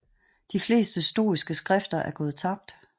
De fleste stoiske skrifter er gået tabt